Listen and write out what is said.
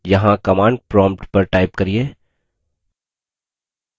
यहाँ command prompt पर type करिये